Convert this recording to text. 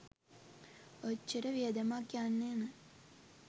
ඔච්චර වියදමක් යන්නේ නෑ.